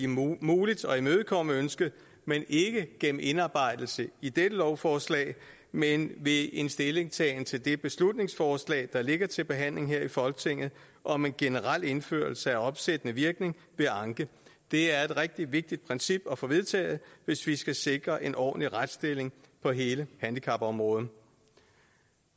muligt at imødekomme ønsket ikke gennem indarbejdelse i dette lovforslag men ved en stillingtagen til det beslutningsforslag der ligger til behandling her i folketinget om en generel indførelse af opsættende virkning ved anke det er et rigtig vigtigt princip at få vedtaget hvis vi skal sikre en ordentlig retsstilling på hele handicapområdet